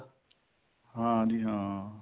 ਹਾਂਜੀ ਹਾਂ